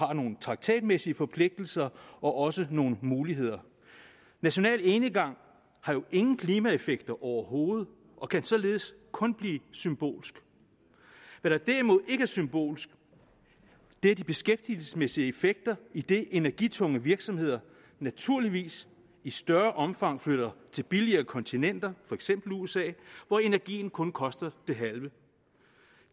har nogle traktatmæssige forpligtelser og også nogle muligheder national enegang har jo ingen klimaeffekter overhovedet og kan således kun blive symbolsk hvad der derimod ikke er symbolsk er de beskæftigelsesmæssige effekter idet energitunge virksomheder naturligvis i større omfang flytter til billigere kontinenter for eksempel usa hvor energien kun koster det halve